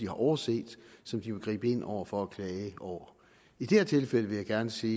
har overset som de må gribe ind over for og klage over i det her tilfælde vil jeg gerne sige